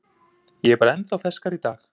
Ég er bara ennþá ferskari í dag.